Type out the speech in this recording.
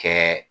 Kɛ